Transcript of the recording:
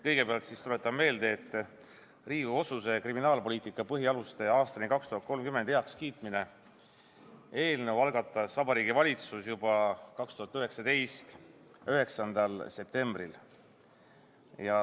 Kõigepealt tuletan meelde, et Riigikogu otsuse "„Kriminaalpoliitika põhialused aastani 2030“ heakskiitmine" eelnõu algatas Vabariigi Valitsus juba 2019. aasta 9. septembril.